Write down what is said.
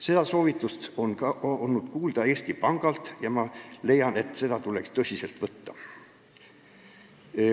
Seda soovitust on olnud kuulda ka Eesti Pangalt ja ma leian, et seda tuleks tõsiselt võtta.